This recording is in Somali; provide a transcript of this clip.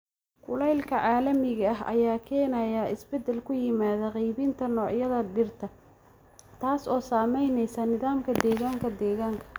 Kulaylka caalamiga ah ayaa keenaya isbeddel ku yimaada qaybinta noocyada dhirta, taas oo saameynaysa nidaamka deegaanka deegaanka.